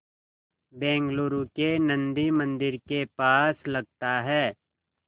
बेंगलूरू के नन्दी मंदिर के पास लगता है